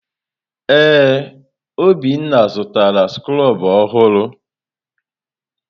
Ee, Obinna zụtara skrobụ ọhụrụ.